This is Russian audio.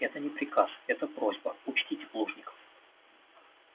это не приказ это просьба учтите плужников